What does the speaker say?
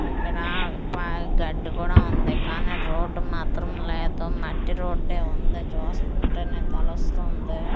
ఇక్కడ ప గడ్డి కూడా ఉంది కానీ రోడ్ మాత్రం లేదు మట్టి రోడే ఉంది చూస్తుంటేనే తెలుస్తుంది.